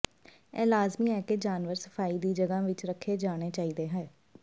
ਇਹ ਲਾਜ਼ਮੀ ਹੈ ਕਿ ਜਾਨਵਰ ਸਫਾਈ ਦੀ ਜਗ੍ਹਾ ਵਿੱਚ ਰੱਖੇ ਜਾਣਾ ਚਾਹੀਦਾ ਹੈ